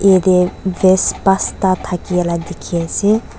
yete vase pasta thakiala dikhi ase.